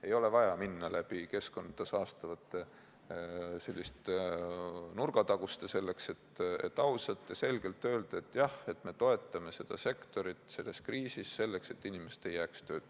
Ei ole vaja minna keskkonda saastavate nurgataguste kaudu, selleks et ausalt ja selgelt öelda, et jah, me toetame seda sektorit selles kriisis, selleks et inimesed ei jääks tööta.